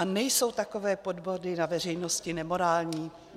A nejsou takové podvody na veřejnosti nemorální?